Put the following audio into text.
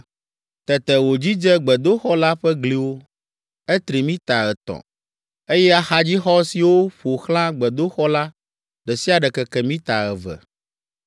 Tete wòdzidze gbedoxɔ la ƒe gliwo; etri mita etɔ̃, eye axadzixɔ siwo ƒo xlã gbedoxɔ la, ɖe sia ɖe keke mita eve.